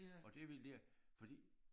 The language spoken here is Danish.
Og det ville de fordi